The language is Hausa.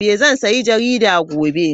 Zan sayi jaridar gobe.